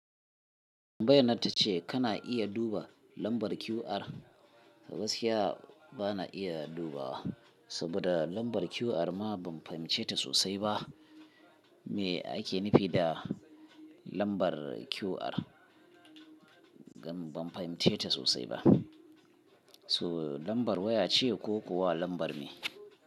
Tambayyanar ta ce kana iya duba lambar QR. Saboda gaskiya bana iya duba wa. Saboda lambar QR ma ban fahimce ta sosai ba. Me ake nufi da lambar QR? Ban fahimce ta sosai ba. So lambar waya ce ko kuwa lambar me?